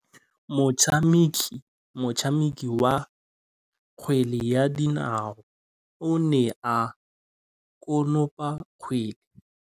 Motshameki wa kgwele ya dinaô o ne a konopa kgwele.